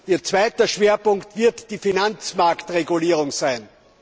Ihr zweiter Schwerpunkt wird die Finanzmarktregulierung sein.